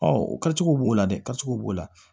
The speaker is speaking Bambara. o kɛcogo b'o la dɛ kɛcogow b'o la